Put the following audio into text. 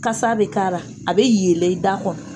Kasa a bɛ k'a ra, a bɛ yeele i da kɔnɔ